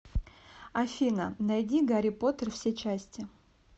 афина найди гарри поттер все части